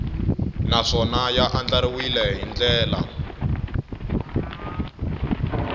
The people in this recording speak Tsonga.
naswona ya andlariwile hi ndlela